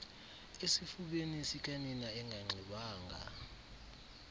esifubeni sikanina enganxibanga